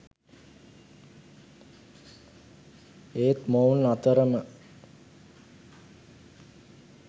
ඒත් මොවුන් අතරම